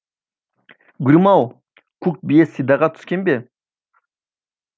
гүлім ау көк бие сидаға түскен бе